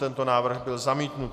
Tento návrh byl zamítnut.